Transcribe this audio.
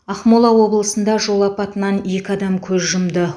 ақмола облысында жол апатынан екі адам көз жұмды